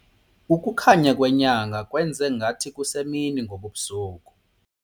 Ukukhanya kwenyanga kwenze ngathi kusemini ngobu busuku.